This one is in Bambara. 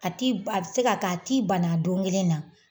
A ti a bɛ se ka kɛ a t'i bana a don kelen na